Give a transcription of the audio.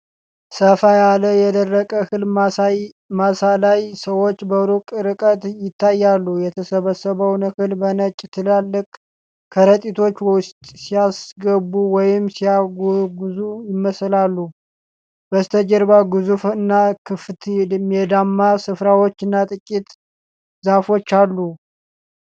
ሰፋ ያለ የደረቀ እህል ማሳ ላይ ሰዎች በሩቅ ርቀት ይታያሉ። የተሰበሰበውን እህል በነጭ ትላልቅ ከረጢቶች ውስጥ ሲያስገቡ ወይም ሲያጓጉዙ ይመስላሉ። በስተጀርባ ግዙፍ እና ክፍት ሜዳማ ስፍራዎችና ጥቂት ዛፎች አሉ።